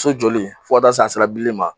So jɔli fɔ ka ta'se billli ma.